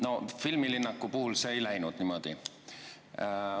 No filmilinnaku puhul see niimoodi ei läinud.